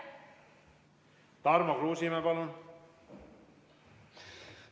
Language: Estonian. Tarmo Kruusimäe, palun!